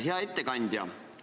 Hea ettekandja!